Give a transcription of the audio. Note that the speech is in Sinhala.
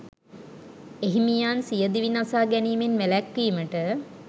එහිමියන් සිය දිවි නසා ගැනීමෙන් වැළැක්වීමට